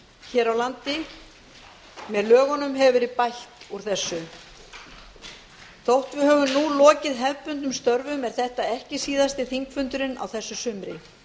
hér á landi með lögunum hefur verið bætt úr þessu þótt við höfum nú lokið hefðbundnum störfum er þetta ekki síðasti þingfundurinn á þessu sumri